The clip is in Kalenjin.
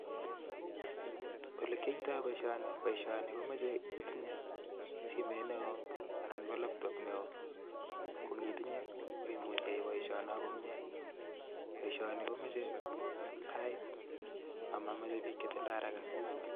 Olekyoitoi boishoni, boishoni komoche itinye simet neo anan ko laptop neo, ko nkitinye imuch iyai boishono komie. Poishoni komeche sait amameche biik chetindoi haraka[sc].